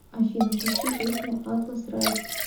афина включи песня атлас райз